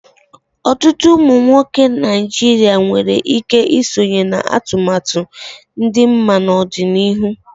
Ọtụtụ ụmụ nwoke Naijiria nwere ike isonye na atụmatụ ịdị mma n'ọdịnihu.